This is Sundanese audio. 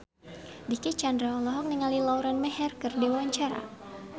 Dicky Chandra olohok ningali Lauren Maher keur diwawancara